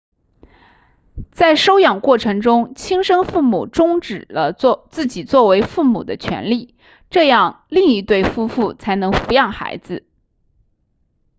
在收养过程中亲生父母终止了自己作为父母的权利这样另一对夫妇才能抚养孩子